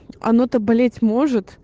оно то блять может